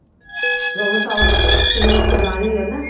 ଜଣେ south film କୁ ଜାଣିବ ନା